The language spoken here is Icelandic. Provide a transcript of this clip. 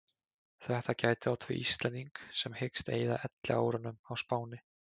Þetta gæti átt við um Íslending sem hyggst eyða elliárunum á Spáni.